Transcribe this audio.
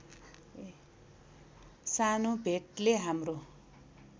सानो भेटले हाम्रो